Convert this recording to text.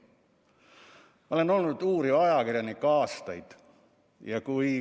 Ma olen aastaid olnud uuriv ajakirjanik.